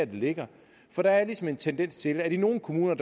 det ligger for der er ligesom en tendens til at i nogle kommuner